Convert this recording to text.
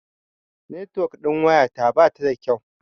Netuwok ɗin waya ta bata da kyau.